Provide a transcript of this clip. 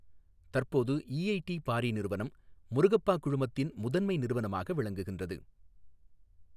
தற்போது EID Parry நிறுவனம் முருகப்பா குழுமத்தின் முதன்மை நிறுவனமாக விளங்குகின்றது.